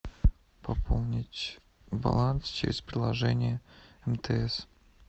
пополнить баланс через приложение мтс